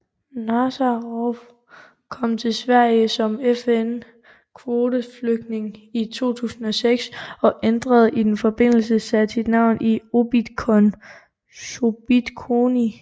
Nazarov kom til Sverige som FN kvoteflygtning i 2006 og ændret i den forbindelse sit navn til Obidkhon Sobitkhony